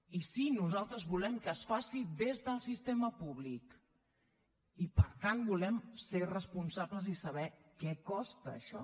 i sí nosaltres volem que es faci des del sistema públic i per tant volem ser responsables i saber què costa això